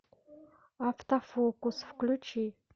автофокус включи